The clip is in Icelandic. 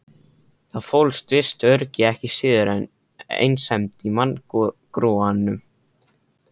Það fólst visst öryggi ekki síður en einsemd í manngrúanum.